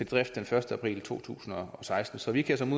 drift den første april to tusind og seksten så vi kan som